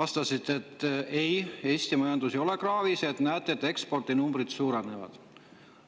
vastasite, et ei, Eesti majandus ei ole kraavis, et näete, ekspordinumbrid suurenevad.